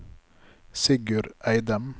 Sigurd Eidem